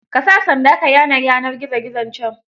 Ka sa sanda ka yane yanar gizo gizon can.